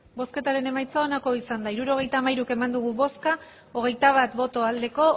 hirurogeita hamairu eman dugu bozka hogeita bat bai